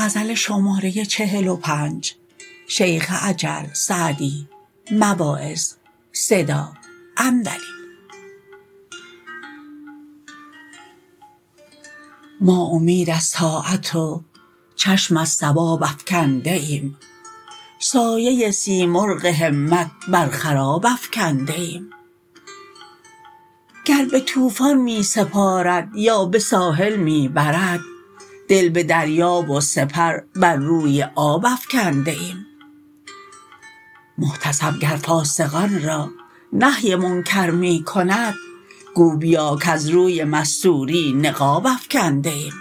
ما امید از طاعت و چشم از ثواب افکنده ایم سایه سیمرغ همت بر خراب افکنده ایم گر به طوفان می سپارد یا به ساحل می برد دل به دریا و سپر بر روی آب افکنده ایم محتسب گر فاسقان را نهی منکر می کند گو بیا کز روی مستوری نقاب افکنده ایم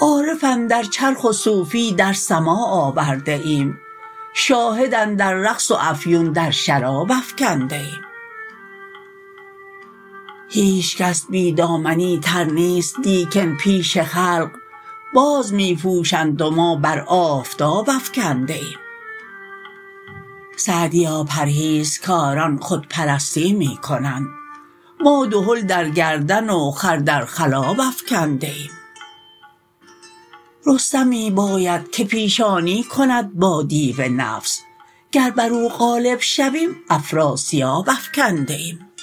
عارف اندر چرخ و صوفی در سماع آورده ایم شاهد اندر رقص و افیون در شراب افکنده ایم هیچکس بی دامنی تر نیست لیکن پیش خلق باز می پوشند و ما بر آفتاب افکنده ایم سعدیا پرهیزکاران خودپرستی می کنند ما دهل در گردن و خر در خلاب افکنده ایم رستمی باید که پیشانی کند با دیو نفس گر بر او غالب شویم افراسیاب افکنده ایم